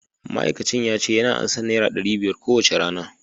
ma'aikacin yace yana ansan naira dari biyar kowacce rana